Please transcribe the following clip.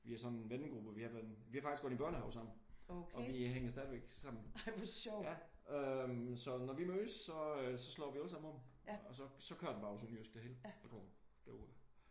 Vi er sådan en vennegruppe vi har været vi har faktisk gået i børnehave sammen og vi hænger stadigvæk sammen. Øh så når vi mødes så slår vi alle sammen om og så kører den bare på sønderjysk det hele. Derudaf